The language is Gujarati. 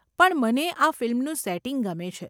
પણ મને આ ફિલ્મનું સેટિંગ ગમે છે.